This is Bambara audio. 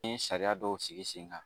N ye sariya dɔw sigi sen kan